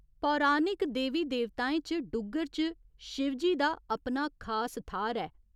पौराणिक देवी देवताएं च डुग्गर च शिवजी दा अपना खास थाह्‌र ऐ।